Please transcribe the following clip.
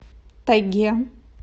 тайге